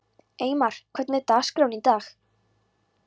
Eymar, hvernig er dagskráin í dag?